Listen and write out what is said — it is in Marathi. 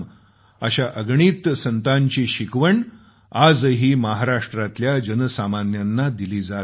अशा अगणित संतांची शिकवण आजही महाराष्ट्रातल्या जनसामान्यांना दिली जात आहे